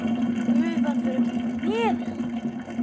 Gufan fer upp í nefið á mér.